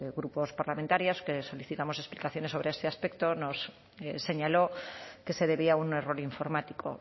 grupos parlamentarios que solicitamos explicaciones sobre este aspecto nos señaló que se debía a un error informático